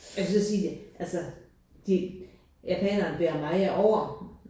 Jeg vil så sige altså de japanerne bærer meget over